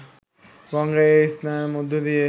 গঙ্গায় এই স্নানের মধ্য দিয়ে